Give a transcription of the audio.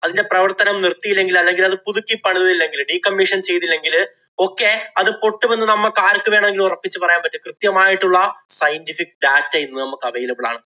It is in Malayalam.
അതിന്‍റെ പ്രവര്‍ത്തനം നിര്‍ത്തിയില്ലെങ്കില് അല്ലെങ്കില്‍ അത് പുതുക്കി പണിതില്ലെങ്കില്, decommission ചെയ്തില്ലെങ്കില് ഒക്കെ അത് പൊട്ടുമെന്ന് നമ്മക്ക് ആര്‍ക്കു വേണമെങ്കിലും ഒറപ്പിച്ചു പറയാന്‍ പറ്റും. കൃത്യമായിട്ടുള്ള scientific data ഇന്ന് നമ്മക്ക് available ആണ്.